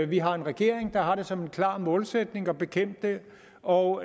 vi har en regering der har det som en klar målsætning at bekæmpe det og